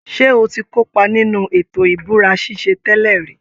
Ṣé o ti kópa nínú ètò ìbúra ṣíṣe tẹ́lẹ̀ rí?